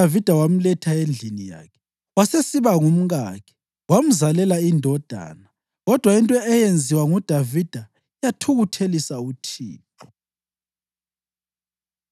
Kwathi isikhathi sokulila sesiphelile, uDavida wamletha endlini yakhe, wasesiba ngumkakhe wamzalela indodana. Kodwa into eyenziwa nguDavida yathukuthelisa uThixo.